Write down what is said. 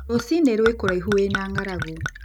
Rũcinĩ rwĩkũraihu wĩ na ng'aragu